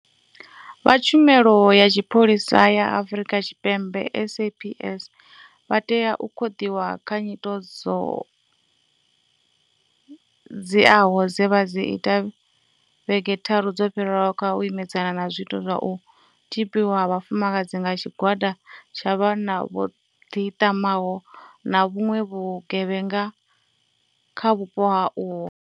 Vha Tshumelo ya Tshipholisa ya Afrika Tshipembe SAPS vha tea u khoḓiwa kha nyito dzo dziaho dze vha ita vhege tharu dzo fhiraho kha u imedzana na zwiito zwa u tzhipiwa ha vhafumakadzi nga tshigwada tsha vhanna vho ḓiṱamaho na vhuṅwe vhu gevhenga kha vhupo uho.